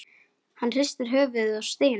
Hann hristir höfuðið og stynur.